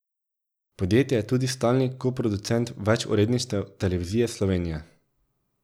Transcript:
Podjetje je tudi stalni koproducent več uredništev Televizije Slovenija.